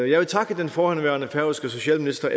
jeg vil takke den forhenværende færøske socialminister